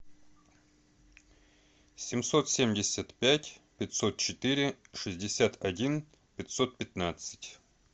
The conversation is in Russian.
семьсот семьдесят пять пятьсот четыре шестьдесят один пятьсот пятнадцать